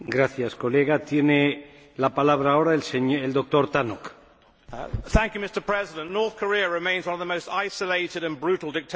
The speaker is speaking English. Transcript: Mr President, North Korea remains one of the most isolated and brutal dictatorships in the world, with a dangerous nuclear programme which risks a regional nuclear arms race.